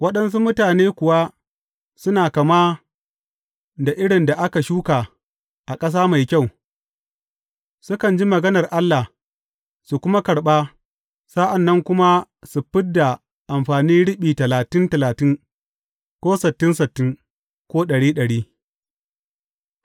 Waɗansu mutane kuwa suna kama da irin da aka shuka a ƙasa mai kyau, sukan ji maganar Allah, su kuma karɓa, sa’an nan kuma su fid da amfani riɓi talatin talatin, ko sittin sittin, ko ɗari ɗari.